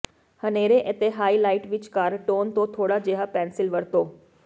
ਹਨੇਰੇ ਅਤੇ ਹਾਈਲਾਈਟ ਵਿਚਕਾਰ ਟੋਨ ਤੋਂ ਥੋੜਾ ਜਿਹਾ ਪੈਨਸਿਲ ਵਰਤੋ